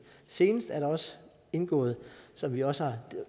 senest er der også indgået som vi også har